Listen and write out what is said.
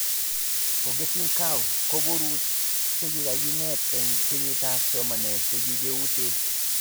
Forgeting Curve koboru chekakinet eng kenyitab somanet chekiutee